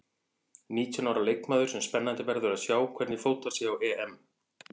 Nítján ára leikmaður sem spennandi verður að sjá hvernig fótar sig á EM.